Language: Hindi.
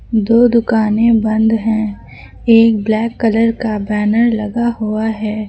दो दुकानें बंद हैं एक ब्लैक कलर का बैनर लगा हुआ है।